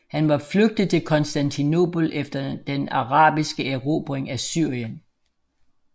Han var flygtet til Konstantinopel efter den arabiske erobring af Syrien